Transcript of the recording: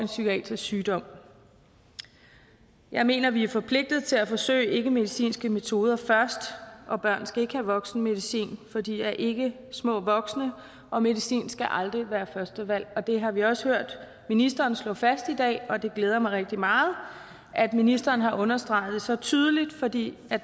psykiatrisk sygdom jeg mener vi er forpligtet til at forsøge ikkemedicinske metoder først og børn skal ikke have voksenmedicin for de er ikke små voksne og medicin skal aldrig være førstevalg det har vi også hørt ministeren slå fast i dag og det glæder mig rigtig meget at ministeren har understreget det så tydeligt fordi